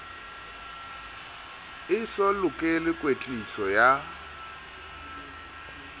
e so lokele kwetliso ya